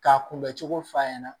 K'a kunbɛ cogo f'a ɲɛna